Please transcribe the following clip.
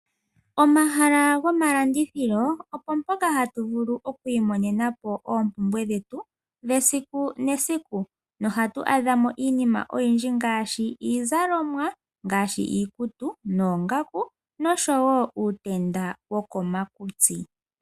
Omahala gomalandithilo ompoka hatu vulu oki imonenapo oompumbwe dhetu dhesiku nesiku nohatu adha mo iinima oyindju ngaashi iizalomwa ngaashi iikutu noongaku nosho wo uutenda wokoma kutsi.